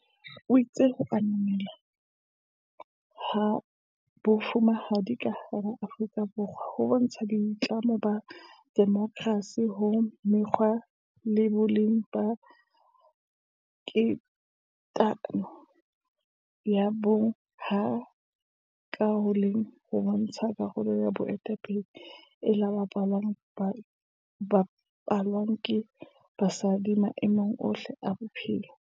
O itse ho ananelwa ha Bo fumahadi ka hara Aforika Borwa ho bontsha boitlamo ba demokersi ho mekgwa le boleng ba tekatekano ya bong, ha ka ho le leng ho bontsha karolo ya boetape le e bapalwang ke basadi maemong ohle a bophelo.